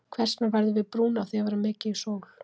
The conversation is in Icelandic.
Hvers vegna verðum við brún af því að vera mikið í sól?